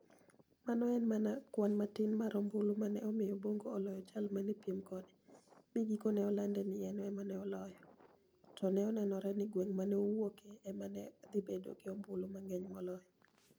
Mano ni e eni mania kwani matini mar ombulu ma ni e omiyo Bonigo oloyo jal ma ni e piem kode, mi gikoni e ni e olanid nii eni ema oloyo, to ni e ni enore nii gwenig' ma ni e owuokie ema ni e dhi bedo gi ombulu manig'eniy moloyo.